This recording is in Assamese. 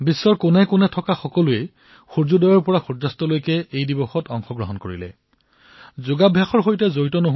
সকলোৱে বিশ্বৰ প্ৰতিটো প্ৰান্তত সূৰ্য ওলোৱাৰ লগে লগেই যদি কোনোবাই তেওঁক স্বাগতম জনায় তেন্তে সেয়া সূৰ্য অস্ত যোৱাৰ পুৰী যাত্ৰা হিচাপে বিবেচিত হয়